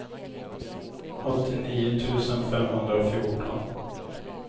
åttionio tusen femhundrafjorton